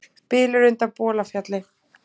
Bylur undan Bolafjalli